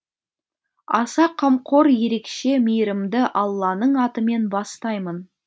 аса қамқор ерекше мейірімді алланың атымен бастаймын